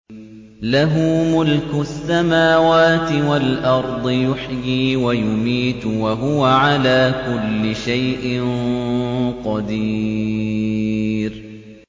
لَهُ مُلْكُ السَّمَاوَاتِ وَالْأَرْضِ ۖ يُحْيِي وَيُمِيتُ ۖ وَهُوَ عَلَىٰ كُلِّ شَيْءٍ قَدِيرٌ